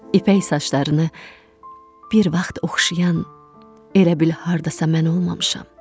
İpək saçlarını bir vaxt oxşayan, elə bil hardasa mən olmamışam.